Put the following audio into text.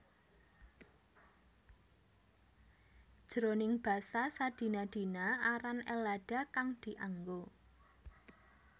Jroning basa sadina dina aran Ellada kang dianggo